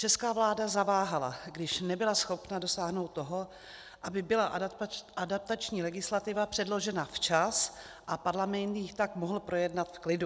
Česká vláda zaváhala, když nebyla schopna dosáhnout toho, aby byla adaptační legislativa předložena včas a Parlament ji tak mohl projednat v klidu.